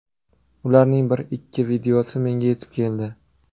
Ularning bir-ikki videosi menga yetib keldi.